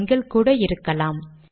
எண்கள் கூட இருக்கலாம்